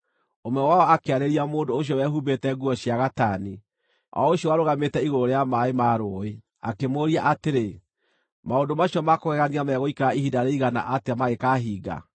Ũmwe wao akĩarĩria mũndũ ũcio wehumbĩte nguo cia gatani, o ũcio warũgamĩte igũrũ rĩa maaĩ ma rũũĩ, akĩmũũria atĩrĩ, “Maũndũ macio ma kũgegania megũikara ihinda rĩigana atĩa magĩkahinga?”